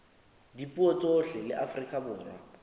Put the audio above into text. dipuo tsohle la afrika borwa